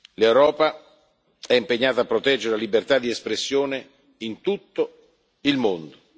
L'Europa è impegnata a proteggere la libertà di espressione in tutto il mondo.